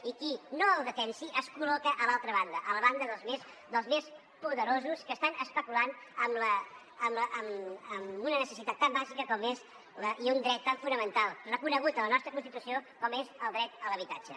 i qui no el defensi es col·loca a l’altra banda a la banda dels més poderosos que estan especulant amb una necessitat tan bàsica i un dret tan fonamental reconegut a la nostra constitució com és el dret a l’habitatge